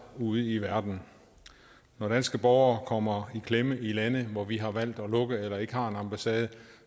ude i verden når danske borgere kommer i klemme i lande hvor vi har valgt at lukke eller ikke har en ambassade